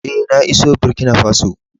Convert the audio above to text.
Eh, na iso Burkina Faso.